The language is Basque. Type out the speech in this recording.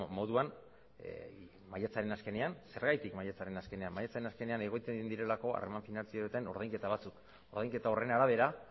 moduan maiatzaren azkenean zergatik maiatzaren azkenean maiatzaren azkenean egiten direlako harreman finantzarioetan ordainketa batzuk ordainketa horren arabera